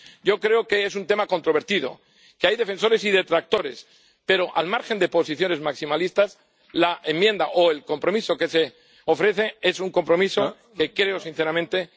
Yo creo que es un tema controvertido, que hay defensores y detractores, pero, al margen de posiciones maximalistas, la enmienda o el compromiso que se ofrece es un compromiso que creo sinceramente que cumple con los objetivos.